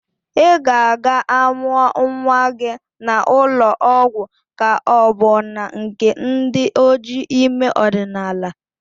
Ị ga-aga amụa nnwa gị na ụlọ ọgwọ ka ọ bu na nke ndi ojii ime ọdinaala?